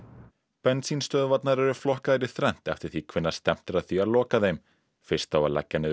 bensínstöðvarnar eru flokkaðar í þrennt eftir því hvenær stefnt er að því að loka þeim fyrst á leggja niður